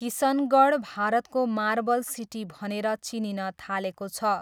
किसनगढ भारतको marble city भनेर चिनिन थालेको छ।